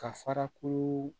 Ka fara ko